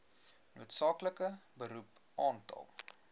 noodsaaklike beroep aantal